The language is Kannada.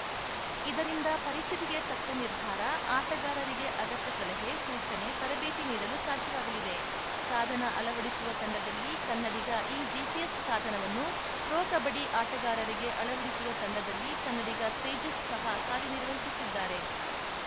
ಇದರಿಂದ ಪರಿಸ್ಥಿತಿಗೆ ತಕ್ಕ ನಿರ್ಧಾರ ಆಟಗಾರರಿಗೆ ಅಗತ್ಯ ಸಲಹೆ ಸೂಚನೆ ತರಬೇತಿ ನೀಡಲು ಸಾಧ್ಯವಾಗಲಿದೆ ಸಾಧನ ಅಳವಡಿಸುವ ತಂಡದಲ್ಲಿ ಕನ್ನಡಿಗ ಈ ಜಿಪಿಎಸ್‌ ಸಾಧನವನ್ನು ಪ್ರೊ ಕಬಡ್ಡಿ ಆಟಗಾರರಿಗೆ ಅಳವಡಿಸುವ ತಂಡದಲ್ಲಿ ಕನ್ನಡಿಗ ತೇಜಸ್‌ ಸಹ ಕಾರ್ಯನಿರ್ವಹಿಸುತ್ತಿದ್ದಾರೆ